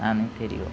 Lá no interior.